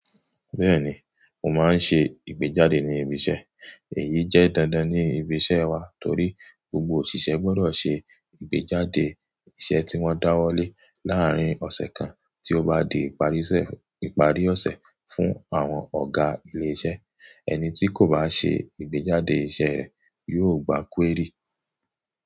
Bẹ́ẹ̀ni, mo máa ń ṣe ìgbéjáde ní ibi iṣẹ́. Èyí jẹ́ dandan ní ibi iṣẹ́ wa torí gbogbo òṣìṣẹ́ gbọ́dọ̀ ṣe ìgbéjáde iṣẹ́ tí wọ́n dáwọ́lé láàrín ọ̀sẹ̀ kan tí ó bá di ìparí ọ̀sẹ̀ fún àwọn ọ̀gá ilé iṣẹ́. Ẹni tí kò bá ṣe ìgbéjáde iṣẹ́ rẹ̀ yóò gba kúérì.